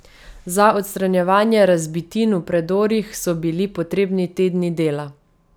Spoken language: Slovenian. Za odstranjevanje razbitin v predorih so bili potrebni tedni dela.